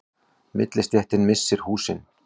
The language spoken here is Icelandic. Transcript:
Millistéttin missir húsin